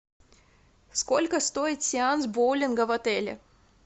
сколько стоит сеанс боулинга в отеле